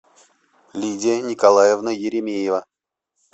лидия николаевна еремеева